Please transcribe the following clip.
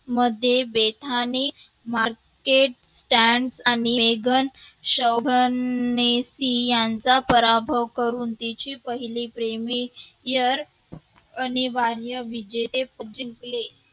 मध्ये वेधाने माग्य त्यांग आणि मेगण शोहणनेशी यांचा पराभव करून पहिली Premier अनिवार्य विजेते पद जिंकले.